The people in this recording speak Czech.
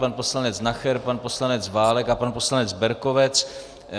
Pan poslanec Nacher, pan poslanec Válek a pan poslanec Berkovec.